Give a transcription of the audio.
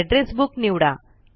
address book निवडा